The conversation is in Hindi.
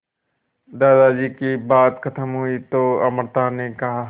दादाजी की बात खत्म हुई तो अमृता ने कहा